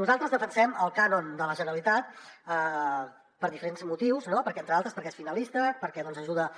nosaltres defensem el cànon de la generalitat per diferents motius no entre d’altres perquè és finalista perquè ajuda